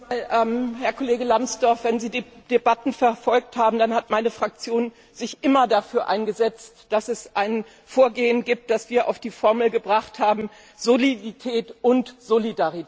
Herr Kollege Lambsdorff, wenn Sie die Debatten verfolgt haben, dann wissen Sie, dass meine Fraktion sich immer dafür eingesetzt hat, dass es ein Vorgehen gibt, das wir auf die Formel gebracht haben Solidität und Solidarität.